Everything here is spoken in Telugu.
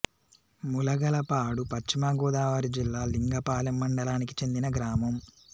ములగలపాడు పశ్చిమ గోదావరి జిల్లా లింగపాలెం మండలానికి చెందిన గ్రామం